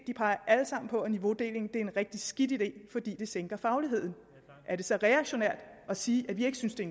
de peger alle sammen på det at niveaudeling er en rigtig skidt idé fordi det sænker fagligheden er det så reaktionært at sige at vi ikke synes det